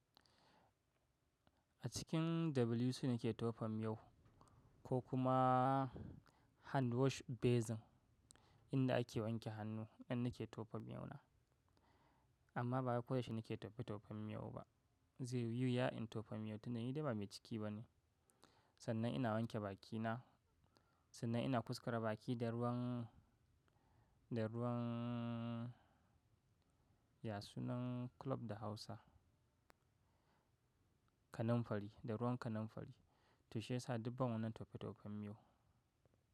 A cikin WC nake tofa miyau ko kuma hand wash basin inda ake wanke hannu in nake tofa miyau na. Amma ba koyaushe nake tofe tofen miyau ba. Zai yi wuya in tofa miyau tunda yi da ba mai ciki ba ne. Sannan ina wanke bakina, sannan ina kuskara baki da ruwan, da ruwan, ya sunan kulob da Hausa? Kanammfari, da ruwan kanammfari. To shi ya sa dubban wannan tofe tofen miyau.